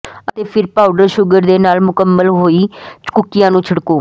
ਅਤੇ ਫਿਰ powder sugar ਦੇ ਨਾਲ ਮੁਕੰਮਲ ਹੋਈ ਕੁੱਕੀਆਂ ਨੂੰ ਛਿੜਕੋ